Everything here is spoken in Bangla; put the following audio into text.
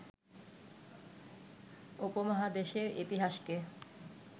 উপমহাদেশের ইতিহাসকে